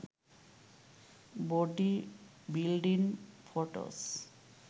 body building photos